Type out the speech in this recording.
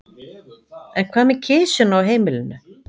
En hvað með kisuna á heimilinu?